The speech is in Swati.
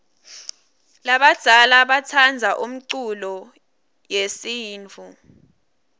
labadzala batsandza umculo yesintfu